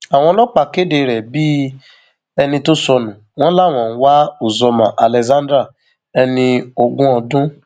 àwọn ọlọpàá kéde rẹ bíi ẹni tó sọnù wọn làwọn ń wá uzoma alexander ẹni ogún ọdún